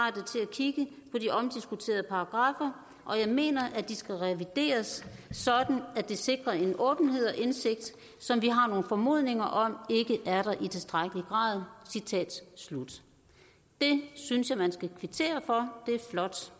kigge på de omdiskuterede paragraffer og jeg mener at de skal revideres sådan at det sikrer en åbenhed og indsigt som vi har nogle formodninger om ikke er der i tilstrækkelig grad det synes jeg man skal kvittere for det er flot